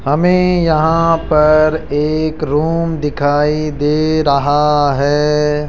हमें यहां पर एक रूम दिखाई दे रहा है।